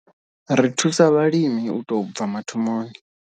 Ri thusa vhalimi u tou bva mathomoni.